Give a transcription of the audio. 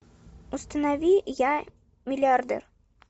установи я миллиардер